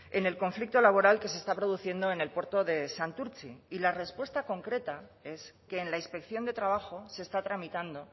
en el conflicto laboral que se está produciendo en el puerto de santurtzi y la respuesta concreta es que en la inspección de trabajo se está tramitando